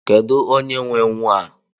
Kedụ onye nwe nwaa?